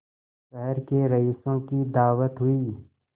शहर के रईसों की दावत हुई